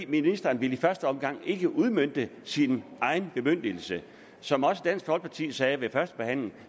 ministeren ville i første omgang ikke udmønte sin egen bemyndigelse som dansk folkeparti sagde ved førstebehandlingen